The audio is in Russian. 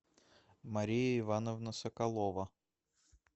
мария ивановна соколова